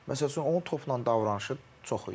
Məsələn, onun topla davranışı çox idi.